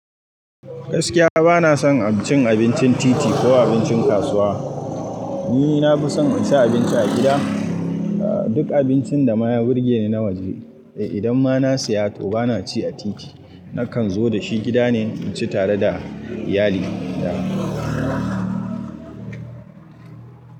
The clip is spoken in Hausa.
Gaskiya bana son cin abincin titi ko abincin kasuwa. Ni na fi son inci abinci a gida. Duk abincin da maye burge ni nawajene. Idan ma na siya to bana ci a titi, nakan zo da shi gida ne inci tare da iyali na.